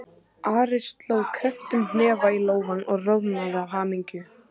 Ari sló krepptum hnefa í lófann og roðnaði af hamingju.